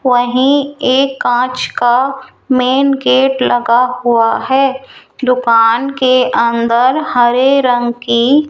वही एक कांच का मेंन गेट लगा हुआ है दुकान के अंदर हरे रंग की --